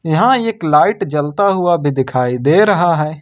यहां एक लाइट जलता हुआ भी दिखाई दे रहा है।